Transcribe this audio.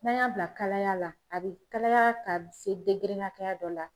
N'an y'a bila kalaya la a bi kalaya k'a bi se hakɛya dɔ la